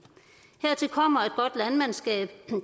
hertil kommer at godt landmandskab